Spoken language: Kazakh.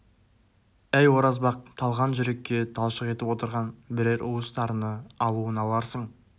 әй оразбақ талған жүрекке талшық етіп отырған бірер уыс тарыны алуын аларсың